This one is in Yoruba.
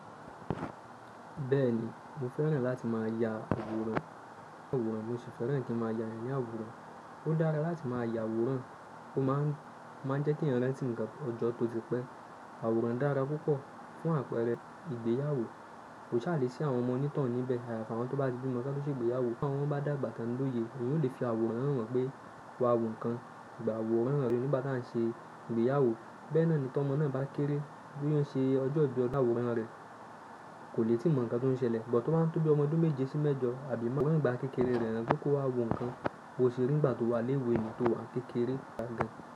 Bẹ́ẹ̀ni, mo fẹ́ràn láti má a ya àwòrán. Àwòrán, mo sì fẹ́ràn kí n má a ya èèyàn ni àwòrán. Ó dára láti má a ya àwòrán, ó má ń jẹ́ kí ẹ̀yàn rántí ǹkan ọjọ́ tó ti pẹ́. Àwòrán dára púpọ̀ fún àpẹẹrẹ ìgbéyàwó. Kò ṣa le sí àwọn ọmọ onítohun níbẹ̀ ayaafi awọn tó bá ti bímọ kán tó ṣe ìgbéyàwó. Bí àwọn ọmọ bá dàgbà tán lóye, wọn yóò lè fi àwòrán hàn wọ́n pé wà wù nkán. Gbà àwòrán rẹ̀ nigbá tàn ṣe ìgbéyàwó. Bẹ́ẹ̀ naa ni tọ́mọ́ naa bá kéré bí ó ṣe ọjọ́ ibi, àwòrán rẹ̀ kò lè tí mọ̀ ǹkan tó ń ṣẹlẹ̀. But, tó báa ń tó bí ọmọ ọ́dún méje sí mẹ́jọ àbí méwàá awọ́ran igbà kekéré rẹ̀ han pe kó wà wo nǹkan. Bòṣe rí nígbà tó wà lẹ́wé tọ́ wà ni kékeré.